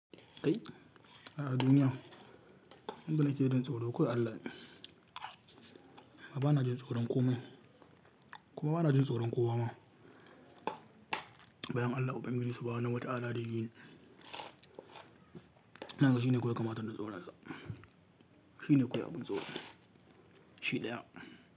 Kai a duniya, wanda na ke dinta tsoro, kawai Allah ne. Ma ba na jin tsoron komai, kuma ba na jin tsoron kowa ma. Bayan Allah, Ubangiji, Subahanahu wa ta'ala da yini. Nan gaba shi ne kawai kamata na tsoronsa. Shi ne kawai abin tsoro. Shi ɗaya.